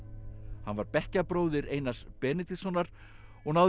hann var bekkjarbróðir Einars Benediktssonar og náði